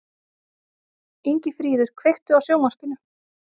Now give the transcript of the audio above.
Ingifríður, kveiktu á sjónvarpinu.